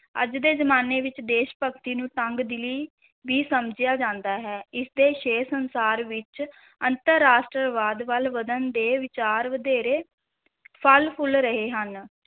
ਅੱਜ ਦੇ ਜ਼ਮਾਨੇ ਵਿੱਚ ਦੇਸ਼-ਭਗਤੀ ਨੂੰ ਤੰਗ-ਦਿਲੀ ਵੀ ਸਮਝਿਆ ਜਾਂਦਾ ਹੈ, ਇਸ ਦੇ ਛੇ ਸੰਸਾਰ ਵਿੱਚ ਅੰਤਰ-ਰਾਸ਼ਟਰਵਾਦ ਵੱਲ ਵਧਣ ਦੇ ਵਿਚਾਰ ਵਧੇਰੇ ਫਲ ਫੁੱਲ ਰਹੇ ਹਨ